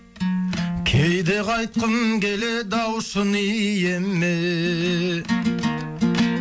кейде қайтқым келеді ау шын иеме